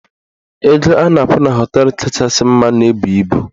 Ego a na-akwụ na họteelụ kachasị mma na-ebu ibu.